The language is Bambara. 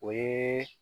O ye